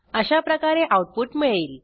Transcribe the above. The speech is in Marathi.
अशाप्रकारे आऊटपुट मिळेल